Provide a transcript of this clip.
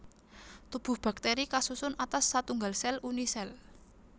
Tubuh baktéri kasusun atas satunggal sèl Unisèl